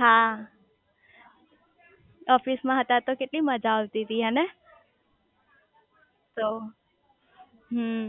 હા ઓફિસ માં હતા ત્યાર તો કેટલી મજા આવતી તી હેને તો હમ્મ